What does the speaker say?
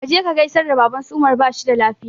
Ka je ka gaisar da baban su umar bashi da lafiya